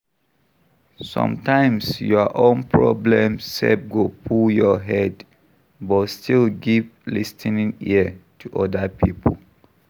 Sometimes your own problem sef go full your head, but still give lis ten ing ear to oda pipo